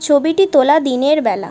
ছবিটি তোলা দিনের বেলা ।